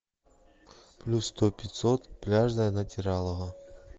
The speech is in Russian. плюс сто пятьсот пляжное натиралово